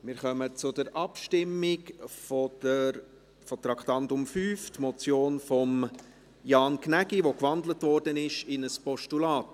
Wir kommen zur Abstimmung über das Traktandum 5, die in ein Postulat gewandelte Motion Gnägi.